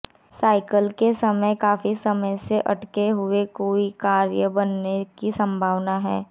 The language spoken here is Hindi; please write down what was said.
सायंकाल के समय काफी समय से अटका हुए कोई कार्य बनने की संभावना है